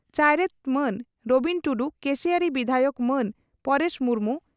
ᱪᱟᱭᱨᱮᱛ ᱢᱟᱱ ᱨᱚᱵᱤᱱ ᱴᱩᱰᱩ, ᱠᱮᱥᱤᱭᱟᱹᱲᱤ ᱵᱤᱫᱷᱟᱭᱚᱠ ᱢᱟᱱ ᱯᱚᱨᱮᱥ ᱢᱩᱨᱢᱩ